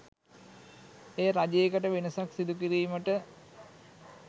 එය රජයකට වෙනසක් සිදු කිරීමට